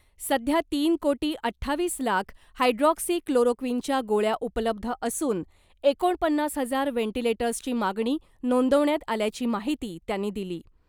सध्या तीन कोटी अठ्ठावीस लाख हायड्रॉक्सीक्लोरोक्विनच्या गोळ्या उपलब्ध असून , एकोणपन्नास हजार व्हॅटिलेटर्सची मागणी नोंदवण्यात आल्याची माहिती त्यांनी दिली .